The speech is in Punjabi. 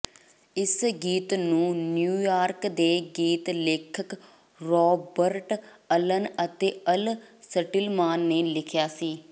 ਇਸ ਗੀਤ ਨੂੰ ਨਿਊਯਾਰਕ ਦੇ ਗੀਤ ਲੇਖਕ ਰੌਬਰਟ ਅਲਨ ਅਤੇ ਅਲ ਸਟਿਲਮਾਨ ਨੇ ਲਿਖਿਆ ਸੀ